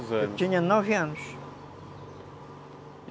Eu tinha nove anos.